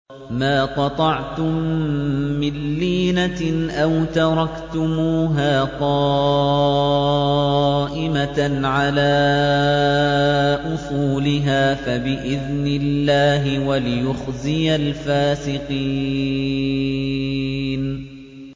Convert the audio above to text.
مَا قَطَعْتُم مِّن لِّينَةٍ أَوْ تَرَكْتُمُوهَا قَائِمَةً عَلَىٰ أُصُولِهَا فَبِإِذْنِ اللَّهِ وَلِيُخْزِيَ الْفَاسِقِينَ